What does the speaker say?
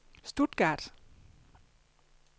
Stuttgart